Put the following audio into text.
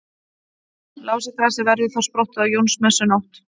Lásagrasið verður þá sprottið á Jónsmessunótt.